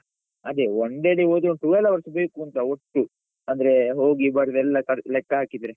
ಅದೇ one day ಅಲ್ಲಿ ಹೋದ್ರೆ twelve hours ಬೇಕುಂತ ಒಟ್ಟು, ಅಂದ್ರೇ ಹೋಗಿ ಬರುದು ಎಲ್ಲಸ ಲೆಕ್ಕ ಹಾಕಿದ್ರೆ.